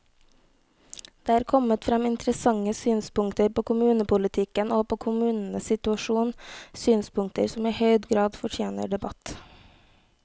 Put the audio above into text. Det er kommet frem interessante synspunkter på kommunepolitikken og på kommunenes situasjon, synspunkter som i høy grad fortjener debatt.